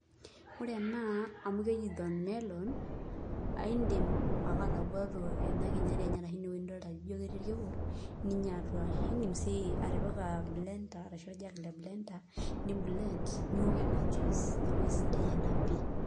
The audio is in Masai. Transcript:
Ore ena amu keji thornelon, aidim ake ataguatu ena kinyati enye arashu inewoi nidolta nijo ketii irkiku, ninya atua. Idim si atipika blender ashu orjag le blender, ni blend, niwok enaa juice. Neeku aisidai ena pi.